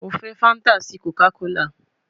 Mo fẹ fanta si Coca kola